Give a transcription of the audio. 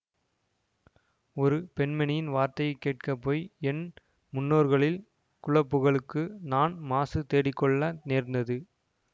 ஒரு பெண்மணியின் வார்த்தையை கேட்க போய் என் முன்னோர்களில் குலப்புகழுக்கு நான் மாசு தேடிக்கொள்ள நேர்ந்தது